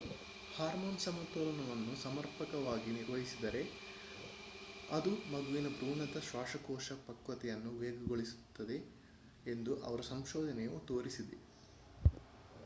hormone ಸಮತೋಲನವನ್ನು ಸಮರ್ಪಕವಾಗಿ ನಿರ್ವಹಿಸಿದರೆ ಅದು ಮಗುವಿನ ಭ್ರೂಣದ ಶ್ವಾಸಕೋಶ ಪಕ್ವತೆಯನ್ನು ವೇಗಗೊಳಿಸುತ್ತದೆ ಎಂದು ಅವರ ಸಂಶೋಧನೆಯು ತೋರಿಸಿದೆ